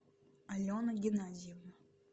алена геннадьевна